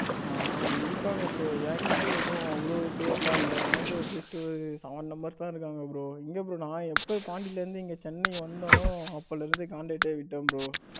ஆ இருக்காங்க bro என்கிட்டயும் எதுவு அவ்வளவு பேர் எல்லாம் இல்ல என்கிட்டயும் ஒரு just Sevan members தான் இருக்காங்க bro. எங்க bro நான் எப்ப பாண்டியில இருந்து இங்க சென்னை வந்தேனோ அப்பையில் இருந்து காண்டாக்டே விட்டேன் bro.